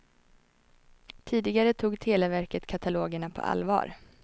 Tidigare tog televerket katalogerna på allvar.